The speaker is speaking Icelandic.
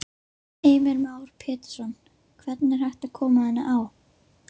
Heimir Már Pétursson: Hvernig er hægt að koma henni á?